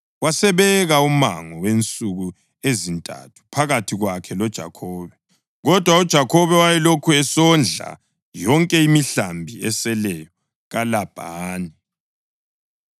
Wasebeka umango wensuku ezintathu phakathi kwakhe loJakhobe, kodwa uJakhobe wayelokhu esondla yonke imihlambi eseleyo kaLabhani.